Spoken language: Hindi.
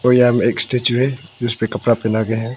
और यहां में एक स्टैचू है जिसपे कपड़ा पहना के है।